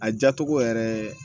A jatogo yɛrɛ